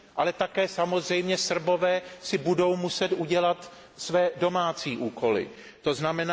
Ale také samozřejmě Srbové si budou muset udělat své domácí úkoly, tzn.